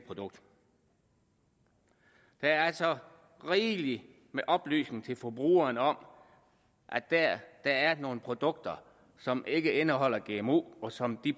produkter der er altså rigelig med oplysning til forbrugerne om at der er er nogle produkter som ikke indeholder gmo og som de